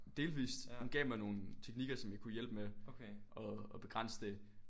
Delvist. Hun gav mig nogle teknikker som der kunne hjælpe med at at begrænse det